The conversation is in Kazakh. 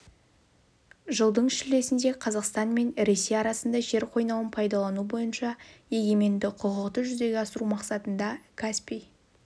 жылдың шілдесінде қазақстан мен ресей арасында жер қойнауын пайдалану бойынша егеменді құқықты жүзеге асыру мақсатында каспий